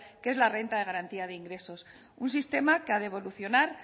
que es la renta de garantía de ingresos un sistema que ha de evolucionar